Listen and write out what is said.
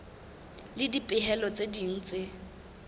le dipehelo tse ding tse